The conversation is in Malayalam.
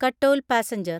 കട്ടോൽ പാസഞ്ചർ